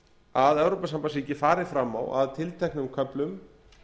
að evrópusambandsríki fari fram á að tilteknum köflum